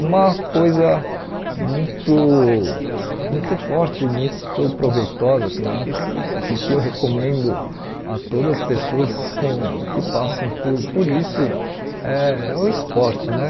Uma coisa muito muito forte, muito proveitosa também, que que eu recomendo a todas as pessoas com que passam por por isso, eh é o esporte né.